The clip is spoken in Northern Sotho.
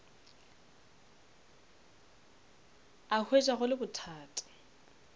a hwetša go le bothata